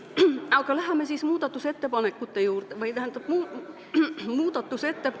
Aga läheme siis muudatusettepanekute juurde.